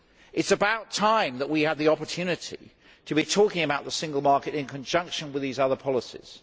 It is about time that we had the opportunity to be talking about the Single Market in conjunction with these other policies.